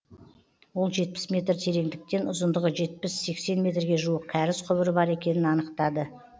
ол жетпіс метр тереңдіктен ұзындығы жетпіс сексен метрге жуық кәріз құбыры бар екенін анықтап